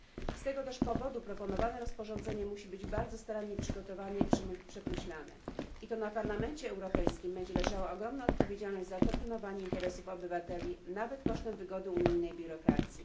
Z tego też powodu proponowane rozporządzenie musi być bardzo starannie przygotowane i przemyślane i to na Parlamencie Europejskim będzie leżała ogromna odpowiedzialność za to pilnowanie interesów obywateli, nawet kosztem wygody unijnej biurokracji.